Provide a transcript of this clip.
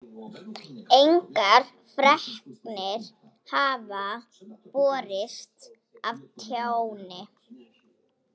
Engar fregnir hafa borist af tjóni